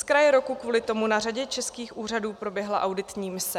Z kraje roku kvůli tomu na řadě českých úřadů proběhla auditní mise.